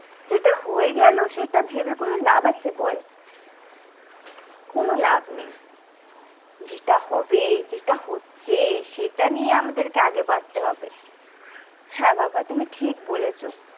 যেটা হয়ে গেল সেটা ভেবে কোনো লাভ আছে বল কোনো লাভ নেই যেটা হবে যেটা হচ্ছে সেটা নিয়ে আমাদেরকে আগে বাঁচতে হবে হ্যাঁ বাবা তুমি ঠিক বলেছো।